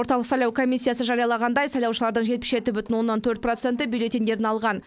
орталық сайлау комиссиясы жариялағандай сайлаушылардың жетпіс жеті бүтін оннан төрт проценті бюллетеньдерін алған